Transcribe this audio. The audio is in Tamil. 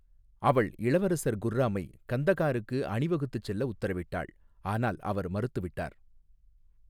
அவள் இளவரசர் குர்ராமை கந்தகாருக்கு அணிவகுத்துச் செல்ல உத்தரவிட்டாள், ஆனால் அவர் மறுத்துவிட்டார்.